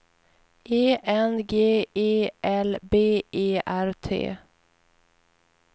E N G E L B E R T